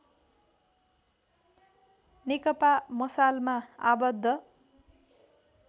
नेकपा मसालमा आबद्ध